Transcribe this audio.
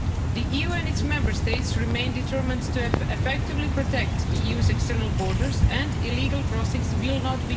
The EU and its Member States remain determined to effectively protect the EU's external borders, and illegal crossings will not be tolerated.